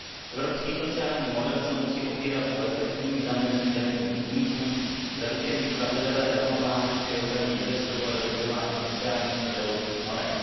Evropský sociální model se musí opírat o efektivní zamezení daňovým únikům, zaručení spravedlivé rovnováhy při ochraně investorů a dodržování sociálních i zdravotních norem.